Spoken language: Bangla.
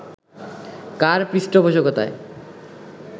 কার পৃষ্ঠপোষকতায়